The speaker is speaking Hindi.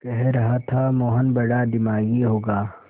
कह रहा था मोहन बड़ा दिमागी होगा